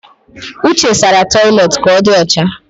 Uche sara toilet ka ọ di ọcha